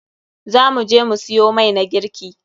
Za mu je mu siyo mai na girki.